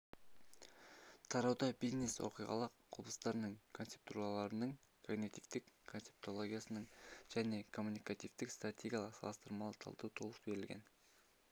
тарауда бизнес-оқиғалық құбылыстарын концептуалдаудағы когнитивтік-концептологиялық және коммуникативтік-стратегиялық салыстырмалы талдау толық берілген